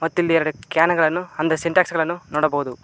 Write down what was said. ಮತ್ತು ಇಲ್ಲಿ ಎರಡು ಕ್ಯಾನ್ ಗಳನ್ನು ಅಂದರೆ ಸಿಂಟೆಕ್ಸ್ ಗಳನ್ನು ನೋಡಬಹುದು.